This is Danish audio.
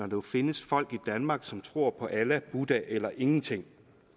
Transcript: jo findes folk i danmark som tror på allah buddha eller ingenting